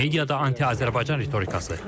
Mediada anti-Azərbaycan ritorikası.